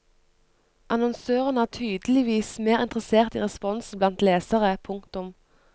Annonsørene er tydeligvis mer interessert i responsen blant lesere. punktum